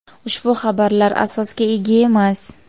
ushbu xabarlar asosga ega emas.